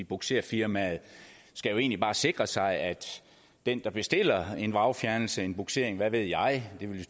bugserfirmaet skal jo egentlig bare sikre sig at den der bestiller en vragfjernelse en bugsering hvad ved jeg det vil